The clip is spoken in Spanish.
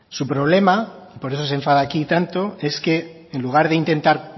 su problema y por eso se enfada aquí tanto es que en lugar de intentar